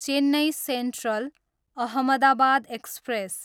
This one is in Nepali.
Chennai central, Ahmedabad express